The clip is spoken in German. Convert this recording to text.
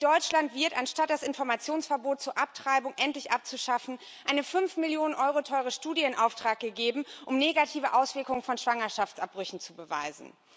In Deutschland wird, anstatt das Informationsverbot zur Abtreibung endlich abzuschaffen, eine fünf Millionen Euro teure Studie in Auftrag gegeben, um negative Auswirkungen von Schwangerschaftsabbrüchen zu beweisen.